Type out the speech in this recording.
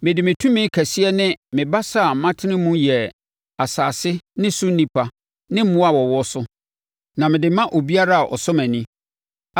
Mede me tumi kɛseɛ ne me basa a matene mu yɛɛ asase ne so nnipa ne mmoa a wɔwɔ so, na mede ma obiara a ɔsɔ mʼani.